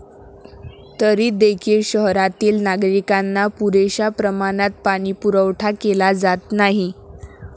तरी देखील शहरातील नागरिकांना पुरेशा प्रमाणात पाणीपुरवठा केला जात नाही.